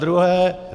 Zadruhé.